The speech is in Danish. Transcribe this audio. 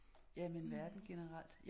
Jamen verden generelt